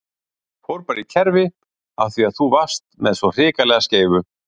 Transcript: Fór bara í kerfi af því að þú varst með svo hrikalega skeifu!